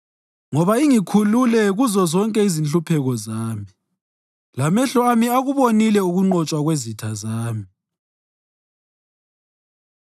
Ngoba ingikhulule kuzozonke inhlupheko zami, lamehlo ami akubonile ukunqotshwa kwezitha zami.